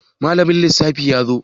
Malamin lissafi yazo?